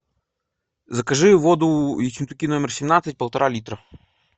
закажи воду ессентуки номер семнадцать полтора литра